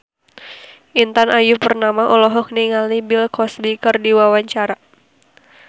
Intan Ayu Purnama olohok ningali Bill Cosby keur diwawancara